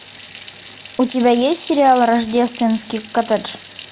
у тебя есть сериал рождественский коттедж